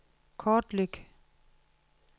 kortlæg